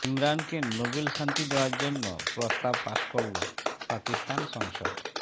ইমরানকে Nobel শান্তি দেওয়ার জন্য প্রস্তাব পাশ করল পাকিস্তান সংসদ